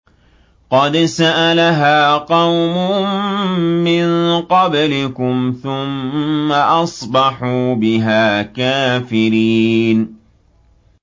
قَدْ سَأَلَهَا قَوْمٌ مِّن قَبْلِكُمْ ثُمَّ أَصْبَحُوا بِهَا كَافِرِينَ